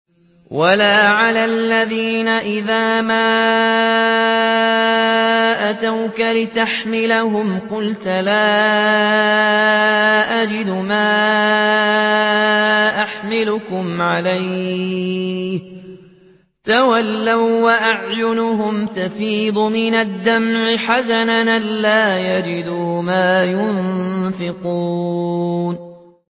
وَلَا عَلَى الَّذِينَ إِذَا مَا أَتَوْكَ لِتَحْمِلَهُمْ قُلْتَ لَا أَجِدُ مَا أَحْمِلُكُمْ عَلَيْهِ تَوَلَّوا وَّأَعْيُنُهُمْ تَفِيضُ مِنَ الدَّمْعِ حَزَنًا أَلَّا يَجِدُوا مَا يُنفِقُونَ